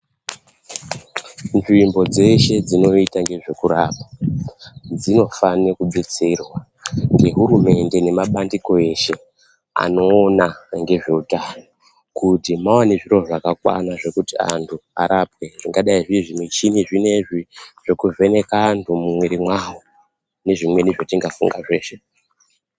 Nzvimbo dzeshe dzinoita nezvekurapwa, dzinofane kubetserwa ngehurumende, nemandiko eshe anoona ngezveutano, kuti vaone zviro zvakakwana zvekuti antu arapwe, zvingadai zviri zvimuchini zvinezvi, zvekuvheneka antu mumwiri mwavo, nezvimweni zvatingafunga zveshe.